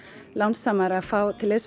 lánsamar að fá til liðs við